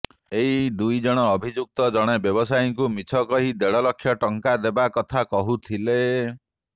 ଏହି ଦୁଇ ଅଭିଯୁକ୍ତ ଜଣେ ବ୍ୟବସାୟୀଙ୍କୁ ମିଛ କହି ଦେଢ଼ ଲକ୍ଷ ଟଙ୍କା ଦେବା କଥା କହୁଥିଲେ